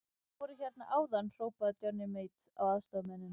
Þeir voru hérna áðan, hrópaði Johnny Mate á aðstoðarmennina.